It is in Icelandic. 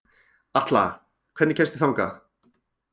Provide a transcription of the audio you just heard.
Atla, hvernig kemst ég þangað?